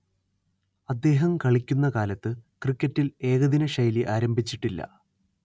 അദ്ദേഹം കളിക്കുന്ന കാലത്ത് ക്രിക്കറ്റിൽ ഏകദിനശൈലി ആരംഭിച്ചിട്ടില്ല